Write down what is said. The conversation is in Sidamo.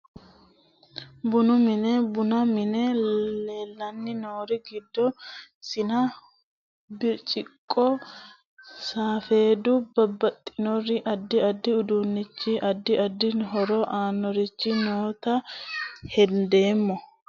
Bunu mine bunu mine leelani noori giddo siina birciqqo safeedu babaxinori adi adi uduunichi adi adi horo aanorichi noota hendeemo.